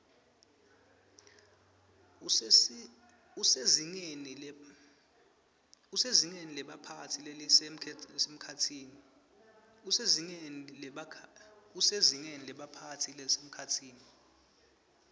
usezingeni lebaphatsi lelisemkhatsini